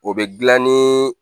O bɛ dilan ni